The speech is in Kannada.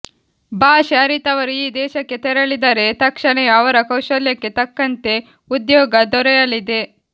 ಭಾಷೆ ಅರಿತವರು ಆ ದೇಶಕ್ಕೆ ತೆರಳಿದರೆ ತಕ್ಷಣವೇ ಅವರ ಕೌಶಲ್ಯಕ್ಕೆ ತಕ್ಕಂತೆ ಉದ್ಯೋಗ ದೊರೆಯಲಿದೆ